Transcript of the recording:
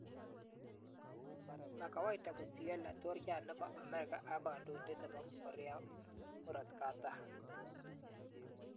Mo kawaida kotuiyo laitoriat nebo Amerika ak kandoindet nebo Korea Murotkatam